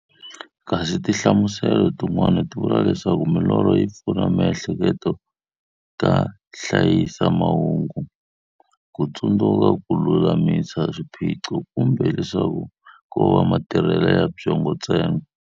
Kasi tinhlamuselo tin'wana ti vula leswaku milorho yi pfuna miehleketo ka hlayisa mahungu, kutsundzuka, kululamisa swiphiqo, kumbe leswaku kova matirhele ya byongo ntsena.